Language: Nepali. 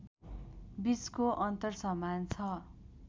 बीचको अन्तर समान छ